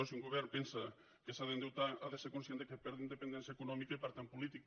si un govern pensa que s’ha d’endeutar ha de ser conscient que perd independència econòmica i per tant política